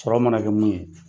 Sɔrɔ mana kɛ mun ye